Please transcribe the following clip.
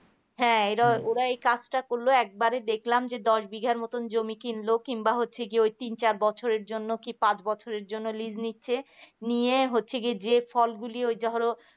ওরা এই কাজটা করল একবারই দেখলাম যে দশ বিঘার মত জমি কিনলেও কিংবা হচ্ছে ওই চেয়ে হচ্ছে তিন চার বছর পাঁচ বছরের জন্য list নিচ্ছে নিয়ে হচ্ছে কি যে ফলগুলি ওই ধরো